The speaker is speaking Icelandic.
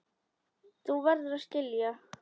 Þú verður að skilja.